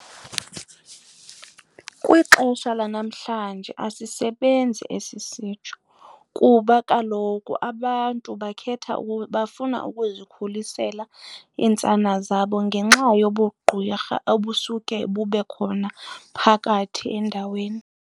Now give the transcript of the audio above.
Kwixesha lanamhlanje asisebenzi esi sitsho kuba kaloku abantu bakhetha bafuna ukuzikhulisela iintsana zabo ngenxa yobugqwirha obusuke bube khona phakathi endaweni.